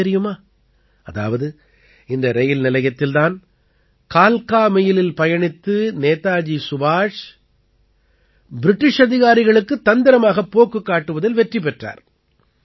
ஏன் தெரியுமா அதாவது இந்த ரயில் நிலையத்தில் தான் கால்கா மெயிலில் பயணித்து நேதாஜி சுபாஷ் பிரிட்டிஷ் அதிகாரிகளுக்குத் தந்திரமாகப் போக்குக் காட்டுவதில் வெற்றி பெற்றார்